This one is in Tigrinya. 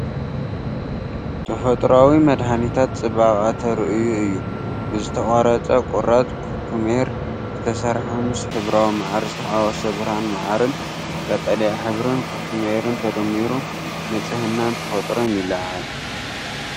ተፈጥሮኣዊ መድሃኒታት ጽባቐ ተራእዩ እዩ፣ ብዝተቖርጸ ቁራጽ ኩኩሜር ዝተሰርሐ፣ ምስ ሕብራዊ መዓር ዝተሓዋወሰ። ብርሃን መዓርን ቀጠልያ ሕብሪ ኩኩሜርን ተደሚሩ ንጽህናን ተፈጥሮን ይለዓዓል።